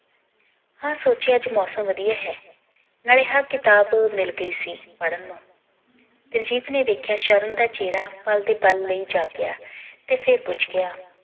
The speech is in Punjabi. ਹਾਂ ਸੋਚਿਆ ਅੱਜ ਮੌਸਮ ਵਧੀਆ ਹੈ ਨਾਲੇ ਹਾਂ ਕਿਤਾਬ ਮਿਲ ਗਈ ਸੀ ਪੜ੍ਹਨ ਨੂੰ ਦਿਲਜੀਤ ਨੇ ਵੇਖਿਆ ਸ਼ਰਨ ਦਾ ਚੇਹਰਾ ਪੱਲ ਦੇ ਪੱਲ ਲਈ ਜਾਗਿਆ ਤੇ ਫਿਰ ਪੁੱਛ ਗਯਾ